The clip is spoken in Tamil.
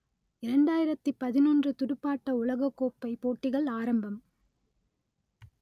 இரண்டாயிரத்தி பதினொன்று துடுப்பாட்ட உலகக்கோப்பை போட்டிகள் ஆரம்பம்